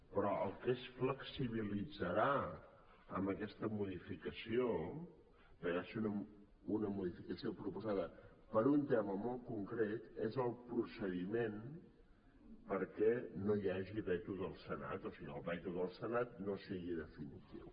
però el que es flexibilitzarà amb aquesta modificació perquè va ser una modificació proposada per a un tema molt concret és el procediment perquè no hi hagi veto del senat o sigui el veto del senat no sigui definitiu